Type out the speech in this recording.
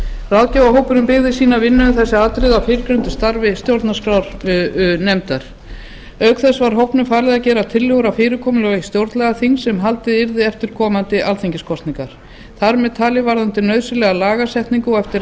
ráðgjafarhópurinn byggði vinnu sína um þessi atriði á fyrrgreindu starfi stjórnarskrárnefndar auk þess var hópnum falið að gera tillögur um fyrirkomulag stjórnlagaþings sem haldið yrði eftir komandi alþingiskosningar þar með talið varðandi nauðsynlega lagasetningu og eftir